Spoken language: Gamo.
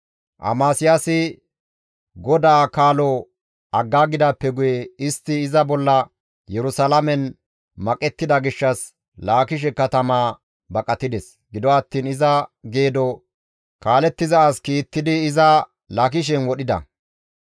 Amasiyaasi GODAA kaalo aggidaappe guye istti iza bolla Yerusalaamen maqettida gishshas Laakishe katamaa baqatides; gido attiin iza geedo kaalettiza as kiittidi iza Laakishen wodhida.